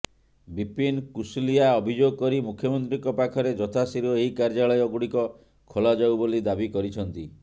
ବିପିନ କୁଶଲିଆ ଅଭିଯୋଗ କରି ମୁଖ୍ୟମନ୍ତ୍ରୀଙ୍କ ପାଖରେ ଯଥାଶୀଘ୍ର ଏହି କାର୍ଯ୍ୟାଳୟ ଗୁଡିକ ଖୋଲାଯାଉ ବୋଲି ଦାବି କରିଛନ୍ତି